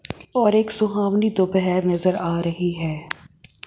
और एक सुहावनी दोपहर नजर आ रही है।